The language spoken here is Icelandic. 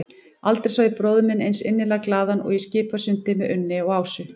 Aldrei sá ég bróður minn eins innilega glaðan og í Skipasundi með Unni og Ásu.